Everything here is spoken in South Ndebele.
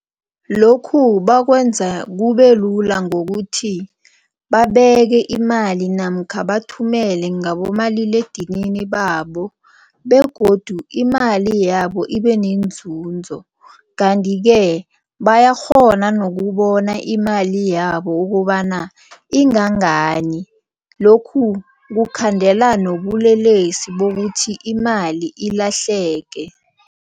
Lokhu bakwenza kubelula ngokuthi babeke imali namkha bathumele ngabomaliledinini babo begodu imali yabo ibe nenzunzo kanti-ke bayakghona nokubona imali yabo ukobana ingangani. Lokhu kukhandela nobulelesi bokuthi imali ilahleke.